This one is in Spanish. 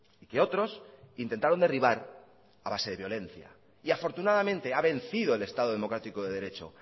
y que otros intentaron derribar a base de violencia y afortunadamente ha vencido el estado democrático de derecho